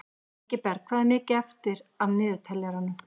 Ingiberg, hvað er mikið eftir af niðurteljaranum?